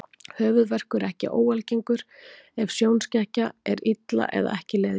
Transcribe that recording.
Höfuðverkur er ekki óalgengur ef sjónskekkja er illa eða ekki leiðrétt.